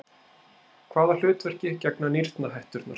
Hvaða hlutverki gegna nýrnahetturnar?